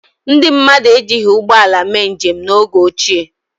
Ndị mmadụ ejighi ụgbọala mee njem n’oge ochie.